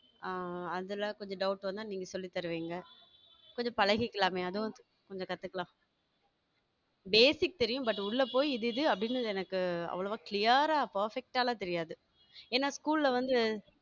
ஆஹ் அதுல கொஞ்சம் doubt வந்தா நீங்க சொல்லித் தருவீங்க இது பழகிக்கலாமே அதுவும் கொஞ்சம் கத்துக்கலாம் basic தெரியும் but உள்ளே போய் இது இது அப்படின்னு எனக்கு அவ்வளவா clear ஆ perfect ஆ எல்லாம் தெரியாது ஏன்னா school ல வந்து